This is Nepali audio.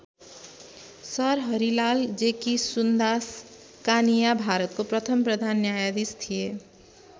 सर हरिलाल जेकिसुन्दास कानिया भारतको प्रथम प्रधानन्यायाधीश थिए।